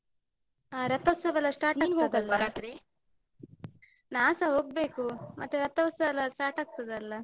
ಅಹ್ ರಥೋತ್ಸವೆಲ್ಲ start . ನಾನ್ಸ ಹೋಗ್ಬೇಕು, ಮತ್ತೆ ರಥೋತ್ಸವೆಲ್ಲ start ಆಗ್ತದಲ್ಲ.